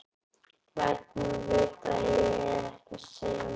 Lætur mig vita að ég eigi ekki að segja meira.